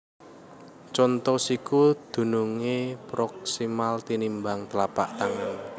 Conto Siku dunungé proksimal tinimbang tlapak tangan